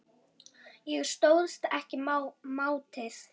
Ég stóðst ekki mátið